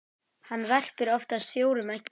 Hann verpir oftast fjórum eggjum.